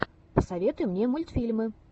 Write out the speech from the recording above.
посоветуй мне мультфильмы